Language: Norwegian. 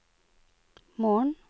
morgen